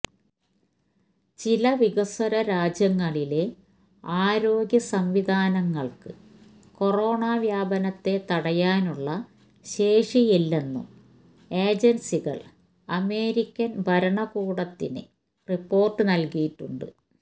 ചില വികസ്വര രാജ്യങ്ങളിലെ ആരോഗ്യ സംവിധാനങ്ങള്ക്ക് കൊറോണ വ്യാപനത്തെ തടയാനുള്ള ശേഷിയില്ലെന്നും ഏജന്സികള് അമേരിക്കന് ഭരണകൂടത്തിന് റിപ്പോര്ട്ട് നല്കിയിട്ടുണ്ട്